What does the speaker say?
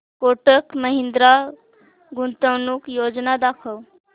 कोटक महिंद्रा गुंतवणूक योजना दाखव